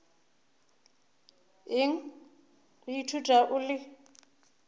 eng go ithuta o le